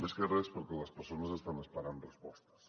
més que res perquè les persones estan esperant respostes